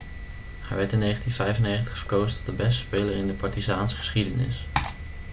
hij werd in 1995 verkozen tot de beste speler in de partizaanse geschiedenis